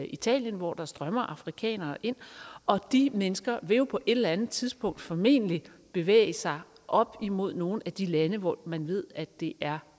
italien hvor der strømmer afrikanere ind og de mennesker vil jo på et eller andet tidspunkt formentlig bevæge sig op imod nogle af de lande hvor man ved at det er